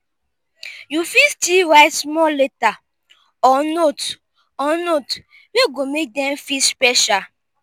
yu fit stil write small letter or note or note wey go mek dem feel special